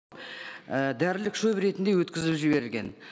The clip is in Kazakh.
і дәрілік шөбі ретінде өткізіліп жіберілген